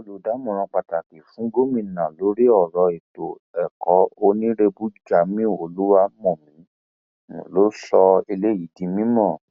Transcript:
lára àwọn afurasí àwọn afurasí tí ọwọ àwọn ẹṣọ apc òde söldù dífẹǹsì àtàwọn jørge wà